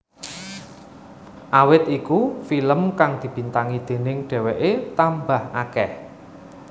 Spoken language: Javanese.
Awit iku film kang dibintangi déning dheweké tambah akeh